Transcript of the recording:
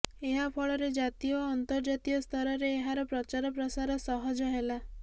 ଏହା ଫଳରେ ଜାତୀୟ ଓ ଅନ୍ତର୍ଜାତୀୟ ସ୍ତରରେ ଏହାର ପ୍ରଚାର ପ୍ରସାର ସହଜ ହେଲା